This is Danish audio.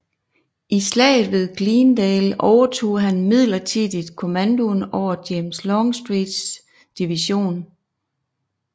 I Slaget ved Glendale overtog han midlertidigt kommandoen over James Longstreets division